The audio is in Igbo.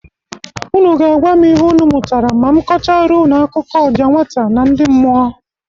Ụnụ ga-agwa m ihe ụnụ mụtara ma m kọchara ụnụ akụkọ ọja nwata na ndị mmụọ.